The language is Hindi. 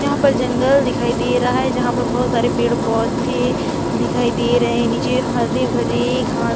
यहाँ पर जंगल दिखाई दे रहा है जहाँ पर बहुत सारे पेड़ - पौधे दिखाई दे रहे है नीचे हरे - भरे घास --